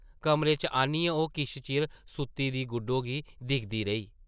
कमरे च आनियै ओह् किश चिर सुत्ती दी गुड्डो गी दिखदी रेही ।